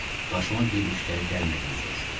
Başıma bir iş gəlib-gəlmədiyini soruşdu.